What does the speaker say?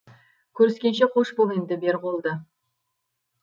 көріскенше қош бол енді бер қолды